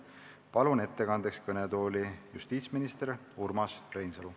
Palun ettekandeks kõnetooli justiitsminister Urmas Reinsalu.